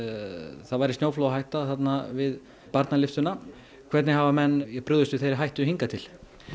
það væri snjóflóðahætta við barnalyftuna hvernig hafa menn brugðist við þeirri hættu hingað til